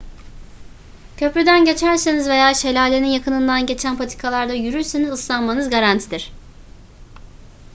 köprüden geçerseniz veya şelalenin yakınından geçen patikalarda yürürseniz ıslanmanız garantidir